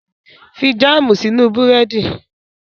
Fi jáàmù sínú Búrẹ́dì!